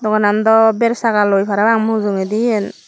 onando versaga loi parapang mujungedi eyan.